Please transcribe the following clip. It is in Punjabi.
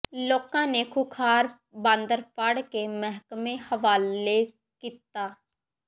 ਲੋਕਾਂ ਨੇ ਖੂੰਖਾਰ ਬਾਂਦਰ ਫੜ ਕੇ ਮਹਿਕਮੇ ਹਵਾਲੇ ਕੀਤਾ